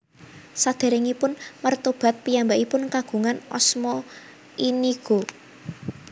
Saderengipun mretobat piyambakipun kagungan asma Inigo